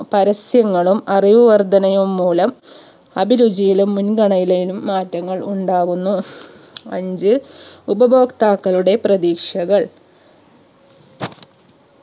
പരസ്യങ്ങളും അറിവ് വർധനയും മൂലം അഭിരുചിയിലും മുൻഗണയിലയും മാറ്റങ്ങൾ ഉണ്ടാവുന്നു അഞ്ചു ഉപഭോക്താക്കളുടെ പ്രതീക്ഷകൾ